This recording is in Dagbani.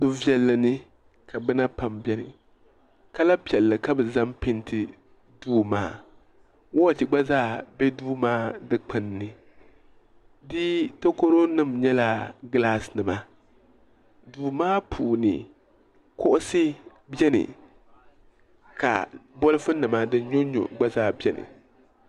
Duu viɛlli ni ka bina pam bɛni kala piɛlli ka bi zaŋ pɛɛnti duu maa wɔchi gba zaa bɛ duu maa dikpuni ni di takoro nim nyɛla gilaasi nima duu maa puuni kuɣusi bɛni ka bɔlifu nima din nyɔ n nyɔ gba zaa bɛni.